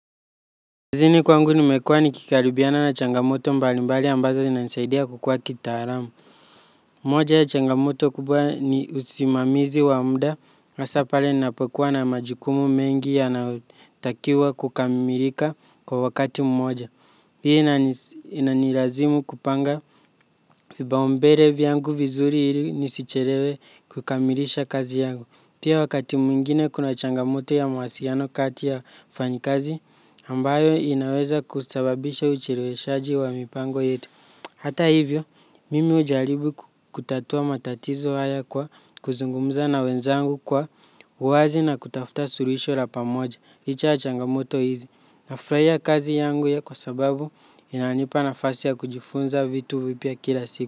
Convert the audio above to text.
Kazini kwangu nimekuwa nikikaribiana na changamoto mbalimbali ambazo zinasaidia kukua kitaalamu. Moja ya changamoto kubwa ni usimamizi wa muda hasa pale ninapokuwa na majukumu mengi yanayotakiwa kukamilika kwa wakati mmoja. Hii inanilazimu kupanga vipaumbele vyangu vizuri ili nisichelewe kukamilisha kazi yangu. Pia wakati mwingine kuna changamoto ya mawasiliano kati ya wafanyikazi ambayo inaweza kusababisha ucheleweshaji wa mipango yetu. Hata hivyo, mimi hujaribu kutatua matatizo haya kwa kuzungumza na wenzangu kwa uwazi na kutafuta suluhisho la pamoja, licha ya changamoto hizi. Nafurahia kazi yangu ya kwa sababu inanipa nafasi ya kujifunza vitu vipya kila siku.